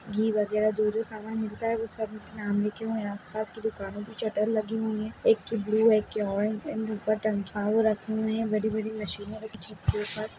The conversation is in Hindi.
घी वगैरा जो जो सामान मिलता है उन सब के नाम लिखे हुए हैं आसपास की दुकानों की शटर लागी हुई हैं एक के ब्लू है एक के ऑरेंज है एंड उपर रखी है बड़ी-बड़ी मशीनें रखी है छत के ऊपर।